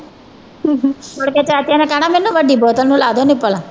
ਮੁੜਕੇ ਚਾਚੇ ਨੇ ਕਹਿਣਾ ਮੈਨੂੰ ਵੱਡੀ ਬੋਤਲ ਨੂੰ ਲਾ ਦਓ ਨਿੱਪਲ